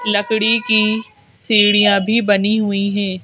लकड़ी की सीढ़ियां भी बनी हुई हैं।